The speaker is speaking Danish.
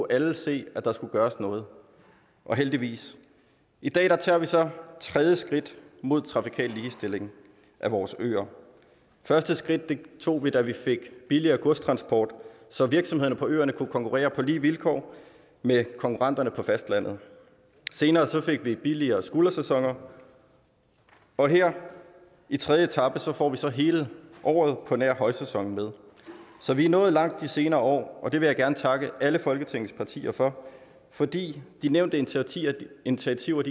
alle se at der skulle gøres noget og heldigvis i dag tager vi så tredje skridt mod trafikal ligestilling af vores øer første skridt tog vi da vi fik billigere godstransport så virksomhederne på øerne kunne konkurrere på lige vilkår med konkurrenterne på fastlandet senere fik vi billigere skuldersæsoner og her i tredje etape får vi så hele året på nær højsæsonen med så vi er nået langt de senere år og det vil jeg gerne takke alle folketingets partier for fordi de nævnte initiativer initiativer